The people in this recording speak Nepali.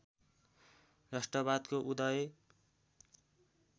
राष्ट्रवादको उदय